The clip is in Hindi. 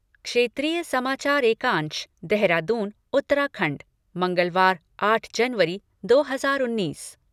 क्षेत्रीय समाचार एकांश देहरादून उत्तराखण्ड मंगलवार, आठ जनवरी दो हजार उन्नीस